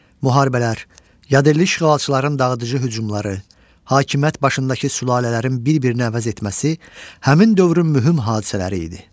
Müharibələr, yadelli işğalçıların dağıdıcı hücumları, hakimiyyət başındakı sülalələrin bir-birini əvəz etməsi həmin dövrün mühüm hadisələri idi.